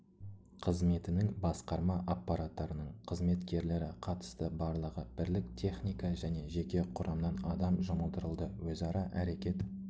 қызметінің басқарма аппаратының қызметкерлері қатысты барлығы бірлік техника және жеке құрамнан адам жұмылдырылды өзара әрекет